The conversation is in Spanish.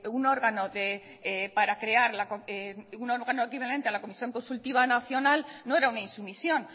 un órgano equivalente a la comisión consultiva nacional no era una insumisión